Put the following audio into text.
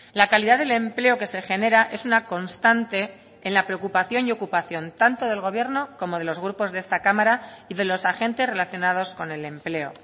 la calidad del empleo que se genera es una constante en la preocupación y ocupación tanto del gobierno como de los grupos de esta cámara y de los agentes relacionados con el empleo